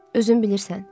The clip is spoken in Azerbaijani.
Özün bilirsən.